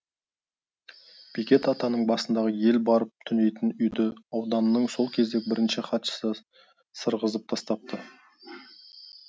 бекет атаның басындағы ел барып түнейтін үйді ауданның сол кездегі бірінші хатшысы сырғызып тастапты